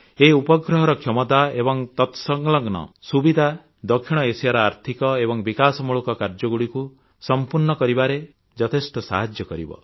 ଏହି ଉପଗ୍ରହର କ୍ଷମତା ଏବଂ ତତସଲଗ୍ନ ସୁବିଧା ଦକ୍ଷିଣ ଏସିଆର ଆର୍ଥିକ ଏବଂ ବିକାଶମୂଳକ କାର୍ଯ୍ୟଗୁଡ଼ିକୁ ସମ୍ପୂର୍ଣ୍ଣ କରିବାରେ ଯଥେଷ୍ଟ ସାହାଯ୍ୟ କରିବ